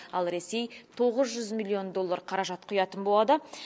ал ресей тоғыз жүз миллион доллар қаражат құятын болады